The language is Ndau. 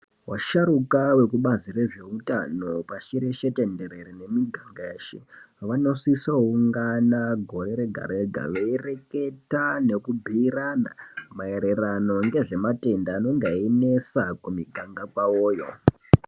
Vasharuka vekubazi rezveutano pashi reshe tenderere nemuganga yeshe, vanosiso -ungana gore rega-rega veireketa nekubhiirana maererano ngezvematenda anonga einesa kumiganga kwavoyo.